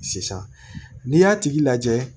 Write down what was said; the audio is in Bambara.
Sisan n'i y'a tigi lajɛ